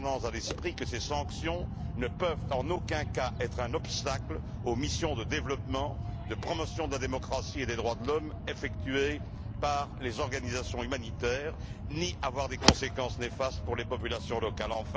à l'esprit que ces sanctions ne peuvent en aucun cas être un obstacle aux missions de développement, de promotion de la démocratie et des droits de l'homme effectuées par les organisations humanitaires, ni avoir des conséquences néfastes pour les populations locales.